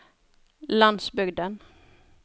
landsbygden